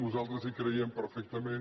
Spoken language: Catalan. nosaltres hi creiem perfectament